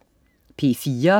P4: